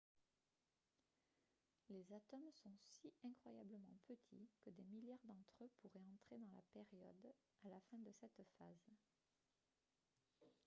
les atomes sont si incroyablement petits que des milliards d'entre eux pourraient entrer dans la période à la fin de cette phrase